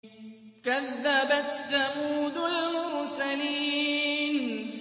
كَذَّبَتْ ثَمُودُ الْمُرْسَلِينَ